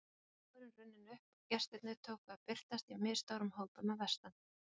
Svo var dagurinn runninn upp og gestirnir tóku að birtast í misstórum hópum að vestan.